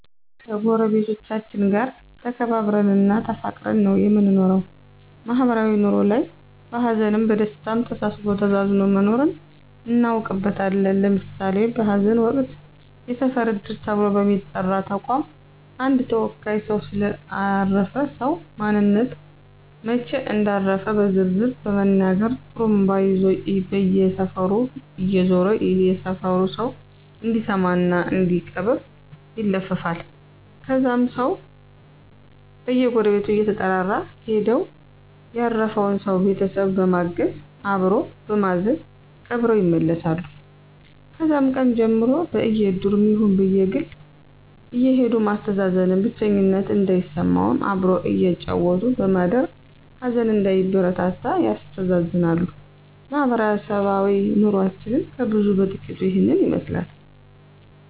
ከጎረቤቶቻችን ጋር ተከባብረን እና ተፋቅረን ነው የምንኖረው ማህበራዊ ኑሮ ላይም በሀዘንም በደስታም ተሳስቦ ተዛዝኖ መኖርን እናውቅበታለን ለምሳሌ በሀዘን ወቅት የሰፈር እድር ተብሎ በሚጠራ ተቋም አንድ ተወካይ ሰው ስለ አረፈ ሰው ማንነት እና መች እንዳረፉ በዝርዝር በመናገር ጡሩምባ ይዞ በየሰፈሩ እየዞረ የሰፈሩ ሰው እንዲሰማ እና እንዲቀብር ይለፍፋል ከዛም ሰው በየጎረቤቱ እየተጠራራ ሄደው ያረፈውን ሰው ቤተሰብ በማገዝ አበሮ በማዘን ቀብረው ይመለሳሉ ከዛም ቀን ጀምሮ በእድሩም ይሁን በግል አየሄዱ ማስተዛዘን ብቸኝነት እንዳይሰማም አብሮ እያጫወቱ በማደር ሀዘን እንዳይበረታ ያስተዛዝናሉ ማህበረሰባዊ ኑሮችን ከብዙ በጥቂቱ ይህን ይመስላል